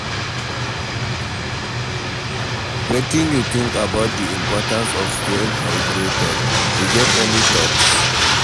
Wetin you think about di importance of staying hydrated, you get any thoughts?